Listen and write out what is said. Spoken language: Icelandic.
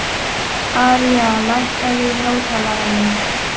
Aría, lækkaðu í hátalaranum.